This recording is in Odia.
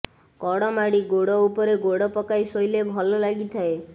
କଡ଼ମାଡ଼ି ଗୋଡ଼ ଉପରେ ଗୋଡ଼ ପକାଇ ଶୋଇଲେ ଭଲ ଲାଗିଥାଏ